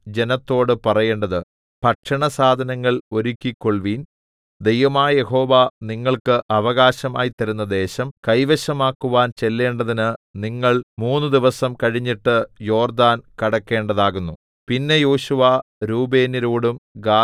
നിങ്ങൾ പാളയത്തിൽകൂടി കടന്ന് ജനത്തോട് പറയേണ്ടത് ഭക്ഷണസാധനങ്ങൾ ഒരുക്കിക്കൊൾവീൻ ദൈവമായ യഹോവ നിങ്ങൾക്ക് അവകാശമായി തരുന്ന ദേശം കൈവശമാക്കുവാൻ ചെല്ലേണ്ടതിന് നിങ്ങൾ മൂന്നുദിവസം കഴിഞ്ഞിട്ട് യോർദ്ദാൻ കടക്കേണ്ടതാകുന്നു